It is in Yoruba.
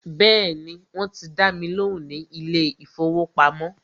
Bẹ́ẹ̀ni, wọ́n ti dá mi lóhùn ní ilé ìfọwọ́pamo.